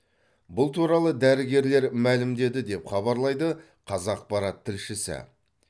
бұл туралы дәрігерлер мәлімдеді деп хабарлайды қазақпарат тілшісі